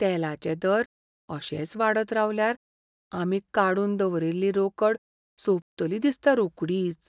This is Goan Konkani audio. तेलाचे दर अशेच वाडत रावल्यार आमी काडून दवरिल्ली रोकड सोंपतली दिसता रोकडीच.